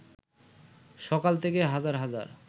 সকাল থেকে হাজার হাজার